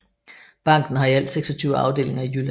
Banken har i alt 26 afdelinger i Jylland